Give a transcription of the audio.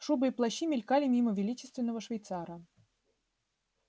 шубы и плащи мелькали мимо величественного швейцара